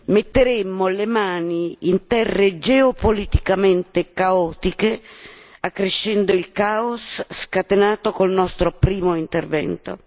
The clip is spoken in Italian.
Metteremmo le mani in terre geopoliticamente caotiche, accrescendo il caos scatenato col nostro primo intervento.